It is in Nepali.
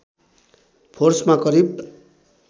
फोर्समा करिब